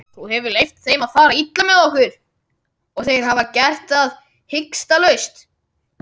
Þú hefur leyft þeim að fara illa með okkur og þeir hafa gert það hikstalaust.